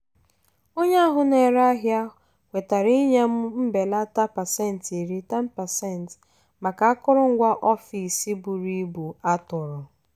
onye ahụ na-ere ahịa kwetara inye m mbelata pasentị iri (10%) maka akụrụngwa ọfịs buru ibu a tụrụ.